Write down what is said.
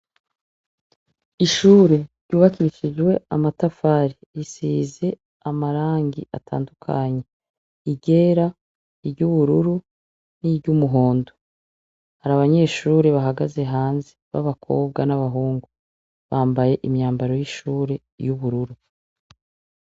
Ishure ryubakishijwe amatafari risize amarangi atandukanyi iryera iry'ubururu ni ry'umuhondo, hari abanyeshure bahagaze hanze b'abakobwa n'abahungu bambaye imyambaro y'ishure y'ubururu.